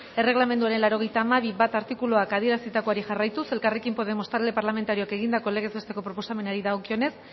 erregelamenduaren laurogeita hamabi puntu bat artikuluak adierazitakoari jarraituz elkarrekin podemos talde parlamentarioak egindako legez besteko proposamenari dagokionez